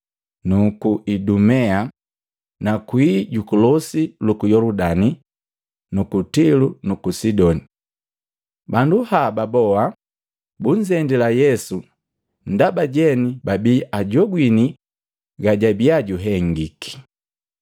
nuku Idumea na kwii juku losi luku Yoludani na ku Tilo nuku Sidoni. Bandu haba boa bunzendila Yesu ndaba jeni babii ajogwini gajabia juhengiki.